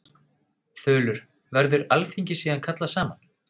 Þulur: Verður alþingi síðan kallað saman?